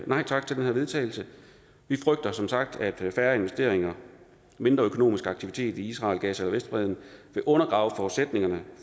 nej tak til den her vedtagelse vi frygter som sagt at færre investeringer mindre økonomisk aktivitet i israel gaza og vestbredden vil undergrave forudsætningerne